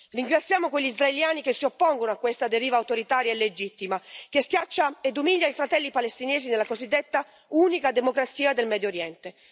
Ringraziamo quegli israeliani che si oppongono a questa deriva autoritaria e illegittima, che schiaccia ed umilia i fratelli palestinesi nella cosiddetta unica democrazia del Medio Oriente.